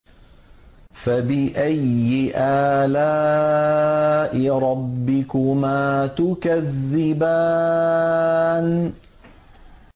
فَبِأَيِّ آلَاءِ رَبِّكُمَا تُكَذِّبَانِ